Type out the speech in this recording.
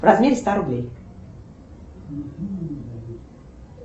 в размере ста рублей